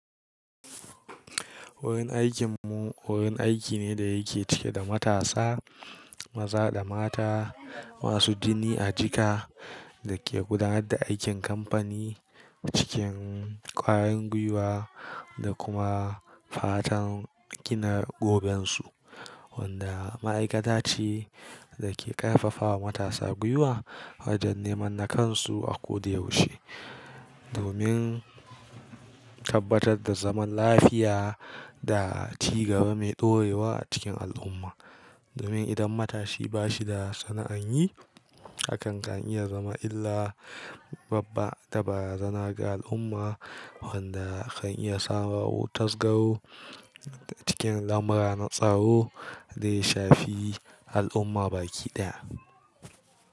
Wurin aikin mu wurin aiki ne da yake cike da matasa, maza da mata masu jini a jika da ke gudanar da aikin kamfani cikin ƙwayan gwiwa da kuma fatan gina gobensu. Wanda ma'aikata ce da ke ƙarfafawa matasa gwiwa wajen neman nakansu a koda da yaushe, domin tabbatar da zaman lafiya da cigaba mai ɗorewa a cikin al'umma. Domin idan matashi ba shi da sana'an yi, hakan kan iya zama illa babba da barazana ga al'umma, wanda kan iya samarwa tasgaro cikin lamura na tsaro da ya shafi al'umma baki ɗaya.